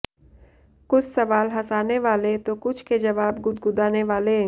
कुछ सवाल हंसाने वाले तो कुछ के जवाब गुदगुदाने वाले